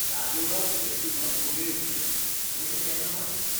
ह्या देवळाक भेट दिवपााचो वेळ कितें, आनी तें केन्ना बांदिल्लें?